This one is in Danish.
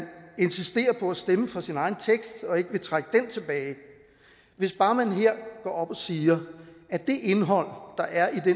insisterer på at stemme for sin egen tekst og ikke vil trække den tilbage hvis bare man her går op og siger at det indhold der er i det